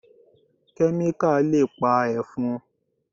Kẹ́míkà le pa Ẹ̀fọn.